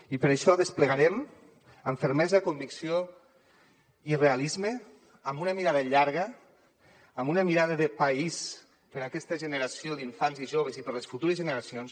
i per això desplegarem amb fermesa convicció i realisme amb una mirada llarga amb una mirada de país per a aquesta generació d’infants i joves i per a les futures generacions